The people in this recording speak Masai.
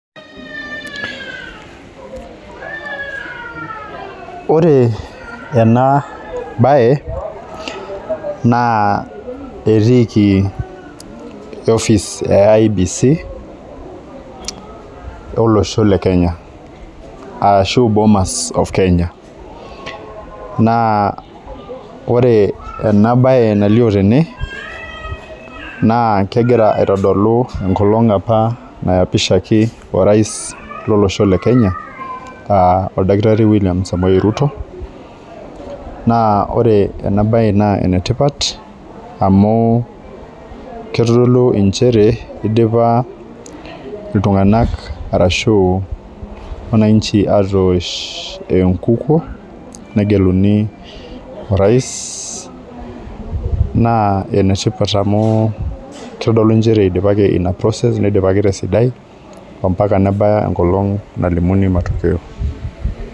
Ore ena baye naa etiiki office e IEBC olosho le kenya ashu bomas of kenya naa ore ena baye nalio tene naa kegira aitodolu enkolong apa nayapishaki orais lolosho le kenya aa oldakitari William samoei ruto naa ore ena baye naa enetipat amu kitodolu inchere idipa iltung'anak arashu wananchi atoosh enkukuo negeluni orais naa enetipat amu kitodolu nchere idipaki ina process nidipaki tesidai ompaka nebaya enkolong nalimuni matokeo.